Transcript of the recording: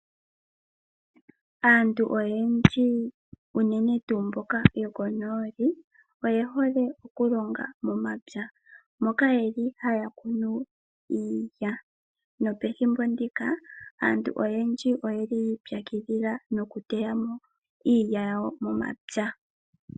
Aantu oyendji uunene tuu mboka yo konooli oyejole okulonga momapya, moka yeli haya kunu iilya. No pethimbo ndika aantu oyendji oye li yi ipyakidhila nokuteya mo iilya yawo momapya.